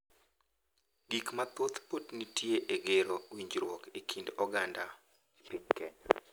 Gik mathoth pod nitie e gero winjruok e kind oganda e piny Kenya: